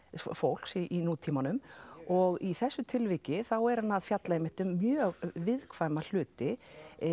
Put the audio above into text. fólks í nútímanum og í þessu tilviki þá er hann að fjalla um einmitt mjög viðkvæma hluti